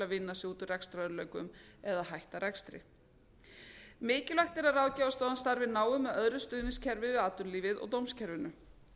að vinna sig út úr rekstrarörðugleikum eða hætta rekstri mikilvægt er að ráðgjafarstofan starfi náið með öðru stuðningskerfi við atvinnulífið og dómskerfinu